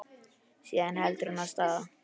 Síðan heldur hún af stað.